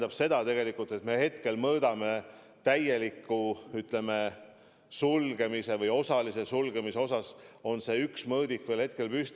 See tähendab seda, et kui me hetkel mõõdame olukorda täieliku või osalise sulgemise seisukohalt, siis on üks mõõdik veel püsti.